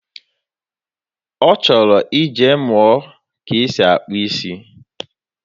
Ọ chọrọ ije mụọ ka e si akpụ isi.